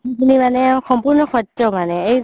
মানে